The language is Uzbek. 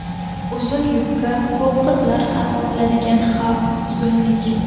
Uzun yubka Ko‘p qizlar xato qiladigan xavf – uzunlik.